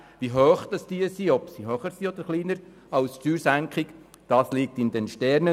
Wie hoch diese liegen werden, ob höher oder tiefer als die Steuersenkung, steht in den Sternen;